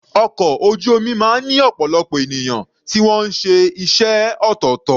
Ọkọ̀ ojú omi máa ń ní ọ̀pọ̀lọpọ̀ ènìyàn tí wọ́n ṣe iṣẹ́ ọ̀tọ̀ọ̀tọ̀.